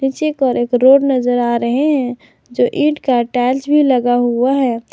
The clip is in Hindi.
पीछे की ओर एक रोड नजर आ रहे हैं जो ईट का टाइल्स भी लगा हुआ है।